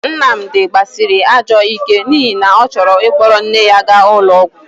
Nnamdi gbasịrị ajọ ike n'ihi na ọ chọrọ ịkpọrọ nne ya ga ụlọ ọgwọ..